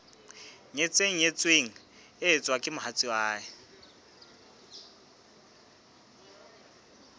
nyetseng nyetsweng eo mohatsae e